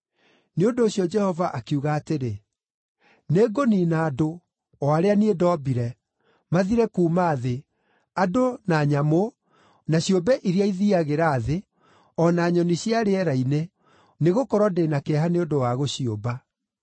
Nĩ ũndũ ũcio Jehova akiuga atĩrĩ, “Nĩngũniina andũ, o arĩa niĩ ndombire, mathire kuuma thĩ, andũ na nyamũ, na ciũmbe iria ithiiagĩra thĩ, o na nyoni cia rĩera-inĩ, nĩgũkorwo ndĩ na kĩeha nĩ ũndũ wa gũciũmba.”